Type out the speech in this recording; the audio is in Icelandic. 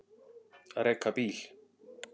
Að reka bíl